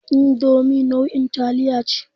Indomi nau'in taliya ce.